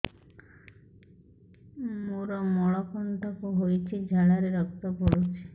ମୋରୋ ମଳକଣ୍ଟକ ହେଇଚି ଝାଡ଼ାରେ ରକ୍ତ ପଡୁଛି